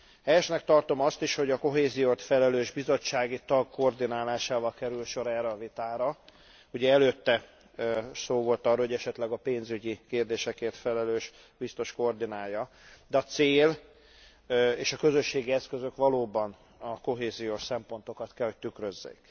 Helyesnek tartom azt is, hogy a kohézióért felelős bizottsági tag koordinálásával került sor erre a vitára, ugye előtte szó volt arról, hogy esetleg a pénzügyi kérdésekért felelős biztos koordinálja, de a cél és a közösségi eszközök valóban a kohéziós szempontokat kell, hogy tükrözzék.